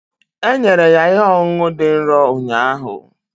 E nyere ya ihe ọṅụṅụ dị nro ụnyaahụ